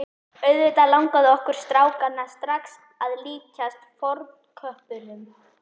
Auðvitað langaði okkur strákana strax að líkjast fornköppunum.